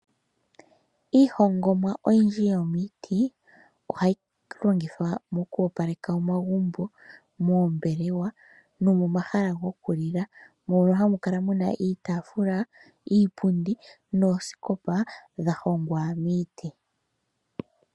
Iihongomwa oyindji yomiiti, ohayi longithwa mo ku opaleka omagumbo, moombelewa no mo mahala goku lila , mpono hamu kala iitaafula, iipundi noosikopa dha hongwa miiti .